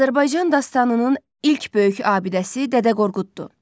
Azərbaycan dastanının ilk böyük abidəsi Dədə Qorquddur.